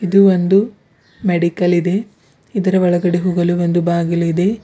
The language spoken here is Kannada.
ಇದು ಒಂದು ಮೆಡಿಕಲ್ ಇದೆ ಇದರ ಒಳಗಡೆ ಹೋಗಲು ಒಂದು ಬಾಗಿಲು ಇದೆ.